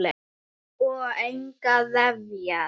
Og engar refjar.